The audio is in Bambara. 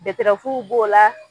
Beterawuw b'o la.